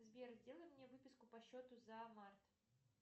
сбер сделай мне выписку по счету за март